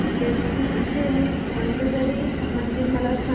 बेटकी चे मंदोदरी मंदिर मला सांग